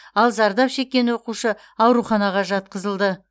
ал зардап шеккен оқушы ауруханаға жатқызылды